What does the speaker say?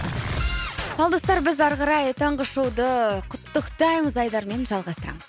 ал достар біз ары қарай таңғы шоуды құттықтаймыз айдарымен жалғастырамыз